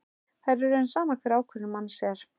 Það er í raun sama hver ákvörðun manns er.